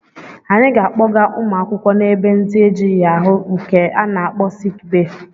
Anyị ga-akpọga ụmụ akwụkwọ na-ebe ndị ejighị ahụ nke a na-akpọ siki bee.